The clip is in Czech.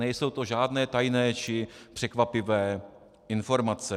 Nejsou to žádné tajné či překvapivé informace.